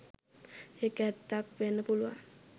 ඒක ඇත්තක් වෙන්න පුළුවන්